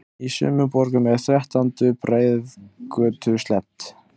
Í sumum borgum er þrettándu breiðgötu sleppt.